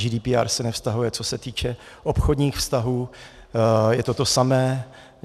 GDPR se nevztahuje, co se týče obchodních vztahů, je to to samé.